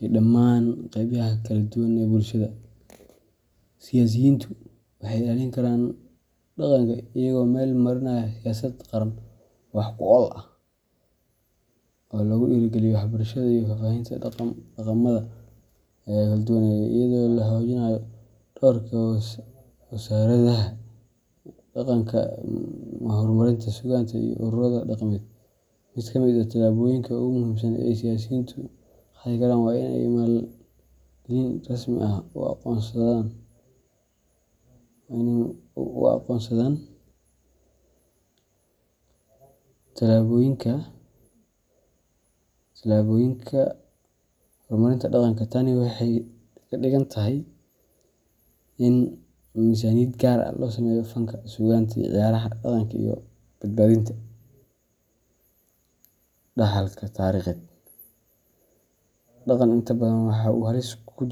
iyo dhammaan qaybaha ka kooban dhaqanka bulshada. Siyaasiyiintu waxay ilaalin karaan dhaqanka iyagoo meel marinaya siyaasad qaran oo wax ku ool ah oo lagu dhiirrigeliyo waxbarashada iyo faafinta dhaqamada kala duwan ee dalka, iyadoo la xoojinayo doorka wasaaradaha iyo hay’adaha dhaqanka sida matxafyada, xarumaha suugaanta, iyo ururada dhaqameed. Mid ka mid ah tallaabooyinka ugu muhiimsan ee ay siyaasiyiintu qaadi karaan waa in ay maalgelin rasmi ah u qoondeeyaan horumarinta dhaqanka. Tani waxay ka dhigan tahay in miisaaniyad gaar ah loo sameeyo fanka, suugaanta, ciyaaraha dhaqanka, iyo badbaadinta dhaxalka taariikheed. Dhaqanka inta badan waxa uu halis ugu jiraa